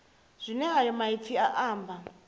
zwine ayo maipfi a amba